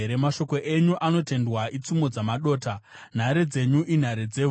Mashoko enyu anotendwa itsumo dzamadota; nhare dzenyu inhare dzevhu.